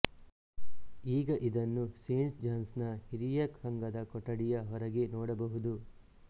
ಈಗ ಇದನ್ನು saint John's ನ ಹಿರಿಯರ ಸಂಘದ ಕೊಠಡಿಯ ಹೊರಗೆ ನೋಡಬಹುದು